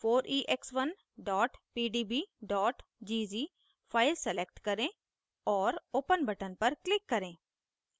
4ex1 pdb gz file select करें और open button पर click करें